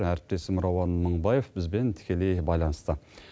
әріптесім рауан мыңбаев бізбен тікелей байланыста